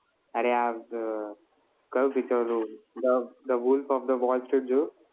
અરે આજ કયું picture હતું The Wolf of Wall Street જોયું